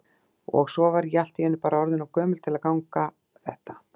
Og svo var ég allt í einu bara orðin of gömul til að ganga þetta.